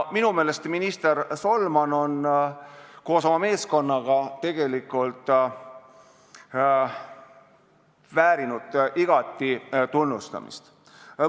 Minu meelest on minister Solman koos oma meeskonnaga tegelikult igati tunnustamist väärt.